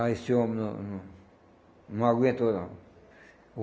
Ah, esse homem não não não aguentou não.